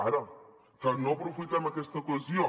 ara que no aprofitem aquesta ocasió